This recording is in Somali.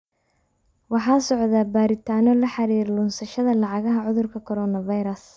Waxaa socda baaritaanno la xiriira lunsashada lacagaha cudurka Coronavirus.